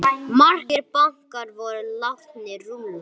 Margir bankar voru látnir rúlla.